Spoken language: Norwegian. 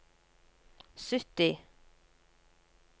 sytti